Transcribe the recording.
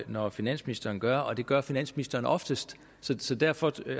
når finansministeren gør det og det gør finansministeren oftest så derfor